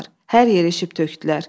Hər yeri eşib tökdülər.